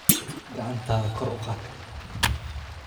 Gacantaada kor u qaad